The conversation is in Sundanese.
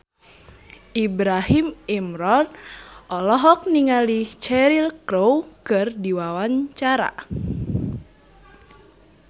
Ibrahim Imran olohok ningali Cheryl Crow keur diwawancara